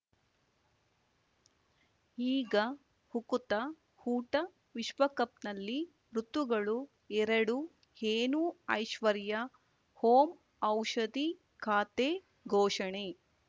ಈಗ ಉಕುತ ಊಟ ವಿಶ್ವಕಪ್‌ನಲ್ಲಿ ಋತುಗಳು ಎರಡು ಏನು ಐಶ್ವರ್ಯಾ ಓಂ ಔಷಧಿ ಖಾತೆ ಘೋಷಣೆ